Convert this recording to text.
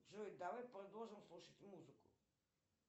джой давай продолжим слушать музыку